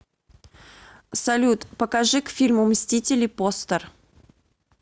салют покажи к фильму мстители постер